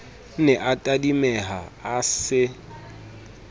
ne a tadimeha a se